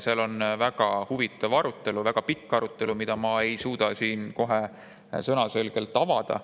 Seal on väga huvitav ja pikk arutelu, mida ma ei suuda siin sõnaselgelt avada.